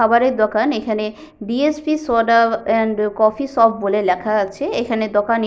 খাবারের দোকান এইখানে B .S .P soda and coffee shop বলে লেখা আছে এখানে দোকানে--